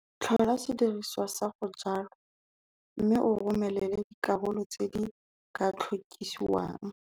Tlhola sediriswa sa go jwala mme o romelele dikarolo tse di ka tlhokisiwang.